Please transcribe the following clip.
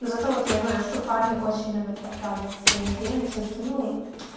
зато вот я знаю что парни очень любят оправдывать свои измены тем что ну